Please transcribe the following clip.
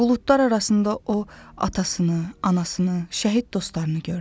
Buludlar arasında o atasını, anasını, şəhid dostlarını gördü.